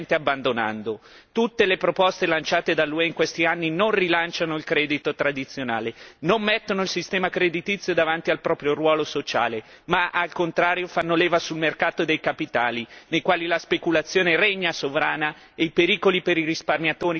Tutte le proposte lanciate dall'UE in questi anni non rilanciano il credito tradizionale, non mettono il sistema creditizio davanti al proprio ruolo sociale ma, al contrario, fanno leva sul mercato dei capitali, nei quali la speculazione regna sovrana e i pericoli per i risparmiatori sono altissimi.